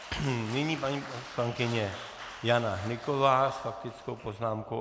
Nyní paní poslankyně Jana Hnyková s faktickou poznámkou.